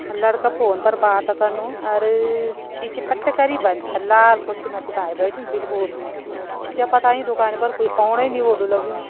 लड़का फ़ोन पर बात करणु और गिची पट करीं बंद और लाल कुर्सी में च भाई बैठ्युं बिलकुल क्या पता इं दुकान पर ओणे ही नहीं हुलु लग्युं।